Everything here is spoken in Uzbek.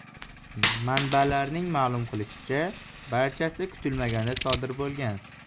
Manbalarning ma’lum qilishicha, barchasi kutilmaganda sodir bo‘lgan.